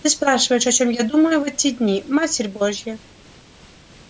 ты спрашиваешь о чём я думаю в эти дни матерь божья